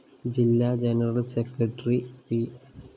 ജില്ലാ general secretary P